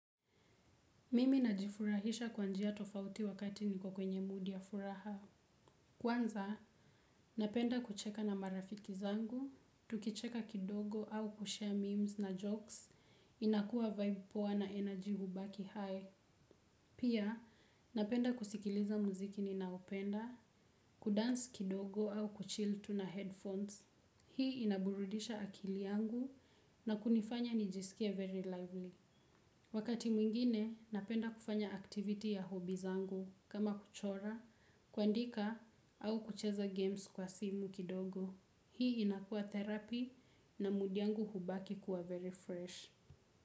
Mimi najifurahisha kwa njia tofauti wakati niko kwenye mudi ya furaha. Kwanza, napenda kucheka na marafiki zangu, tukicheka kidogo au kusambaza meme na vichekesho, inakua msisimko poa na nishati hubaki juu. Pia, napenda kusikiliza muziki ninaopenda, kucheza kidogo au kutulia na vichwa vya sauti. Hii inaburudisha akili yangu na kunifanya nijisikie mchangamfu. Wakati mwingine napenda kufanya mambo ya burudani zangu kama kuchora, kwandika au kucheza michezo kwa simu kidogo. Hii inakua tiba na hisia yangu hubaki kuwa safi sana.